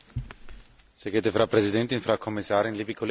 Frau Präsidentin, Frau Kommissarin, liebe Kolleginnen und Kollegen!